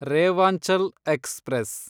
Rewanchal express